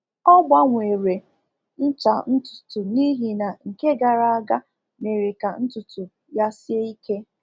Ọ gbanwere ncha ntutu n’ihi na nke gara aga mere ka ntutu ya sie ike.